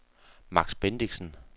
Max Bendixen